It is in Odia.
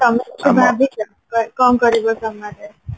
ତମେ କିଛି ଭାବିଛ କଣ କରିବ summer ରେ?